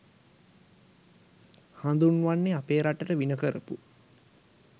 හඳුන්වන්නෙ අපේ රටට වින කරපු